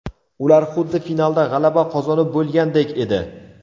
Ular xuddi finalda g‘alaba qozonib bo‘lgandek edi.